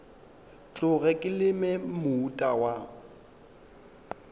tloge ke leme moota wa